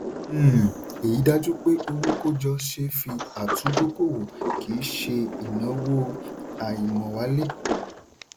um èyí dájú pé owó kójọ ṣe é fi àtúndókòwò kì í ṣe ìnáowó àìmówálé.